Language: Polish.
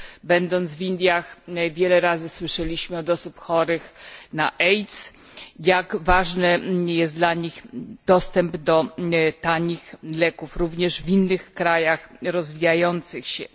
Będąc w Indiach wiele razy słyszeliśmy od osób chorych na AIDS jak ważny jest dla nich dostęp do tanich leków, również w innych krajach rozwijających się.